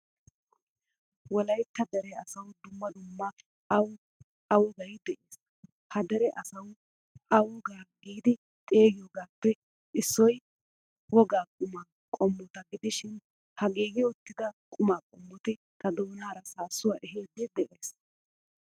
Wolaytta dere asawu dumma dumma awu a wogaay de'ees. Ha dere asawu a wogaa giidi xeegiyogappe issoy wogaa qumaa qomota gidishin ha giigi uttida qumaa qommotti ta doonaara saassuwaa ehidi de'ees.